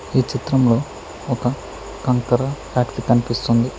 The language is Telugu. ఈ చిత్రంలో ఒక కంకర ఫాక్ట్రీ కనిపిస్తుంది.